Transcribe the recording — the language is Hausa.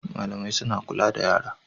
Malamai suna kula da yara